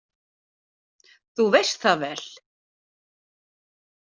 Þú veist það vel!